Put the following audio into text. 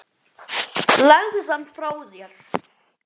Legðu hann frá þér